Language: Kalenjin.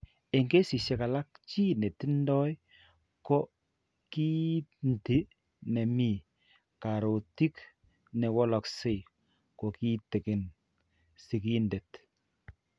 Eng' keesisiek alk, chi ne tindo ko kiinti ne mi karootiik ne walakse kong'eten sigindeet.